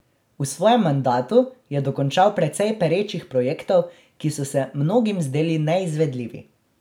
V svojem mandatu je dokončal precej perečih projektov, ki so se mnogim zdeli neizvedljivi.